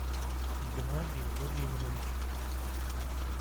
геннадий владимирович